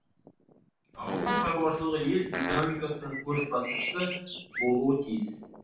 ауыл шаруашылығы ел экономикасының көшбасшысы болуы тиіс